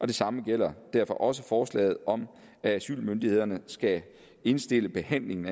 det samme gælder derfor også forslaget om at asylmyndighederne skal indstille behandlingen